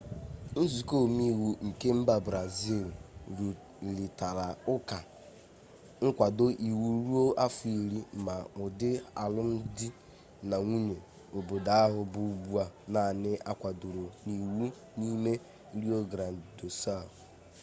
nzuko omeiwu nke mba brazịl rụrịtara ụka nkwado iwu ruo afọ iri ma ụdị alụmdi na nwunye obodo ahụ bụ ugbu a naanị a kwadoro n'iwu n'ime rio grande do sul